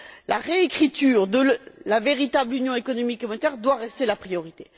La réécriture de la véritable union économique et monétaire doit rester la priorité.